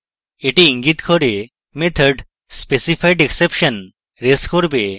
এটি ইঙ্গিত করে method specified exception রেজ করবে